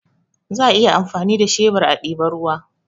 Za a iya amfani da shebur a diba ruwa